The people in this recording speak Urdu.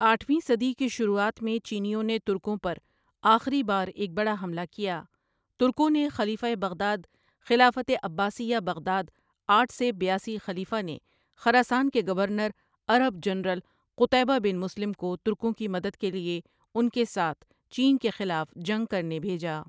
آٹھویں صدی کی شروعات میں چینیوں نے ترکوں پر آخری بار ایک بڑا حملہ کیا ترکوں نے خلیفہ بغداد خلافت عباسیہ بغداد آٹھ ؎ سے بیاسی خلیفہ نے خراسان کے گورنر عرب جنرل قطیبہ بن مسلم کو ترکوں کی مدد کے لیے ان کے ساتھ چین کے خلاف جنگ کرنے بھیجا ۔